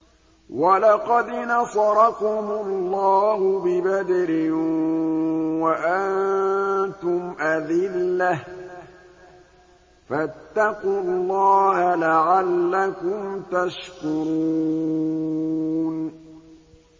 وَلَقَدْ نَصَرَكُمُ اللَّهُ بِبَدْرٍ وَأَنتُمْ أَذِلَّةٌ ۖ فَاتَّقُوا اللَّهَ لَعَلَّكُمْ تَشْكُرُونَ